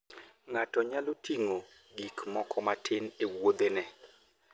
Ng'ato nyalo ting'o gik moko matin e wuodhene.